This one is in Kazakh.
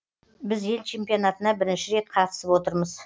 біз ел чемпионатына бірінші рет қатысып отырмыз